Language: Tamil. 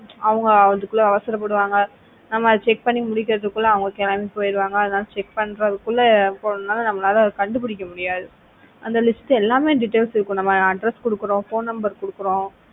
அவங்க அதுக்குள்ள அவசர படுவாங்க நம்ம அத check பண்ணி முடிக்கிறதுக்குள்ள அவங்க கிளம்பி போயிடுவாங்க அதெல்லாம் check பண்றதுக்குள்ளபோணும்னா நம்மளால அதை கண்டுபிடிக்க முடியாது அந்த list ல எல்லா details இருக்கும் நம்ம address கொடுக்கிறோம் phone number கொடுக்கிறோம்